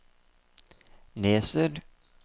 leser